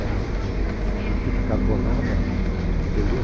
Era um uma fita carbonada, entendeu?